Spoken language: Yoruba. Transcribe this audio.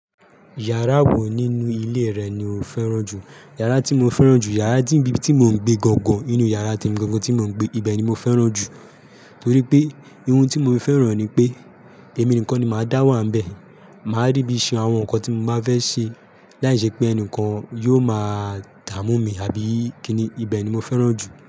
Yàrá wo nínú ilé rẹ ni o fẹ́ràn jù? Yàrá tí mo fẹ́ràn jù, yàrá tí ibi tí mo ń gbé gangan nínú yàrá temi gangan ti mo ń gbé, ibẹ̀ ni mo fẹ́ràn jù. Nítorí pé ohun tí mo fẹ́ràn re ni pé èmi nìkan ni màá dá wà níbẹ̀. Màá ri bi ṣẹ́ àwọn nǹkan tí mo máa fẹ́ ṣe láìṣẹ pé ẹnìkan yóò máa dààmú mi àbí kíni, ibẹ̀ ni mo fẹ́ràn jù.